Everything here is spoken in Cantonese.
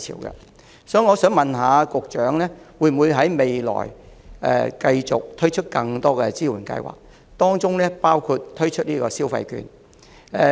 因此，我想問局長，未來會否繼續推出更多支援計劃，包括推出消費券？